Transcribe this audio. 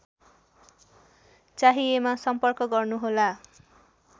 चाहिएमा सम्पर्क गर्नुहोला